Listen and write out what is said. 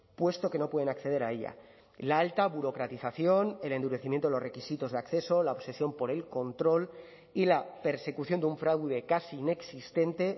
puesto que no pueden acceder a ella la alta burocratización el endurecimiento de los requisitos de acceso la obsesión por el control y la persecución de un fraude casi inexistente